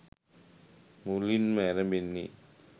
මුලින්ම ඇරඹෙන්නේ